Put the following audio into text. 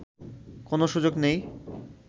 কোন সুযোগ নেই